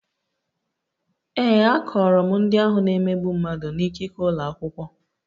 Ee, akọrọ m ndị ahụ na-emegbu mmadụ na ikike ụlọ akwụkwọ